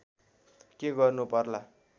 के गर्नु पर्ला